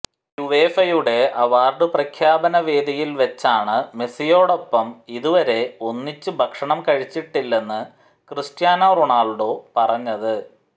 യുവേഫയുടെ award പ്രഖ്യാപന വേദിയില് വെച്ചാണ് മെസിയോടൊപ്പം ഇതുവരെ ഒന്നിച്ച് ഭക്ഷണം കഴിച്ചിട്ടില്ലെന്ന് ക്രിസ്റ്റ്യാനോ റൊണാള്ഡോ പറഞ്ഞത്